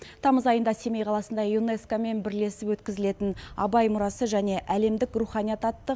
тамыз айында семей қаласында юнеско мен бірлесіп өткізілетін абай мұрасы және әлемдік руханият атты